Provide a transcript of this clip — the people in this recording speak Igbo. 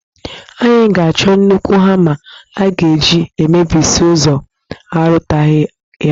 Anyị ga-achọ nnukwu hama a ga-eji emebisi ụzọ, a rụtaghị ya